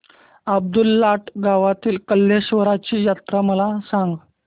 अब्दुललाट गावातील कलेश्वराची जत्रा मला सांग